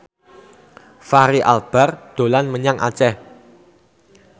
Fachri Albar dolan menyang Aceh